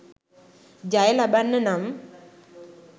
ජය ලබන්න නම්